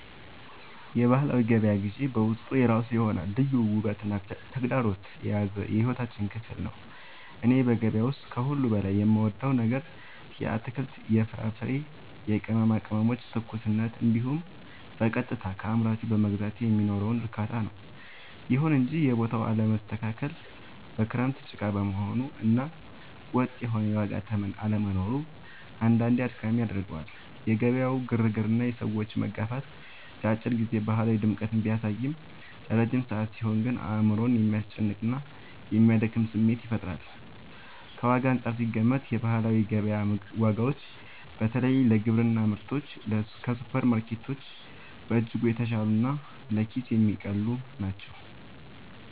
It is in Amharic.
የባህላዊ ገበያ ግዢ በውስጡ የራሱ የሆነ ልዩ ውበትና ተግዳሮት የያዘ የሕይወታችን ክፍል ነው። እኔ በገበያ ውስጥ ከሁሉ በላይ የምወደው ነገር የአትክልት፣ የፍራፍሬና የቅመማ ቅመሞችን ትኩስነት እንዲሁም በቀጥታ ከአምራቹ በመግዛቴ የሚኖረውን እርካታ ነው። ይሁን እንጂ የቦታው አለመስተካከል፣ በክረምት ጭቃ መሆኑ እና ወጥ የሆነ የዋጋ ተመን አለመኖሩ አንዳንዴ አድካሚ ያደርገዋል። የገበያው ግርግርና የሰዎች መጋፋት ለአጭር ጊዜ ባህላዊ ድምቀትን ቢያሳይም፣ ለረጅም ሰዓት ሲሆን ግን አእምሮን የሚያስጨንቅና የሚያደክም ስሜት ይፈጥራል። ከዋጋ አንጻር ሲገመገም፣ የባህላዊ ገበያ ዋጋዎች በተለይ ለግብርና ምርቶች ከሱፐርማርኬቶች በእጅጉ የተሻሉና ለኪስ የሚቀልሉ ናቸው።